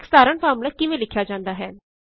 ਇਕ ਸਾਧਾਰਣ ਫ਼ਾਰਮੂਲਾ ਕਿਵੇਂ ਲਿਖਿਆ ਜਾਂਦਾ ਹੈ